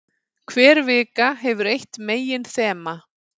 Hver vika hefur eitt meginþema.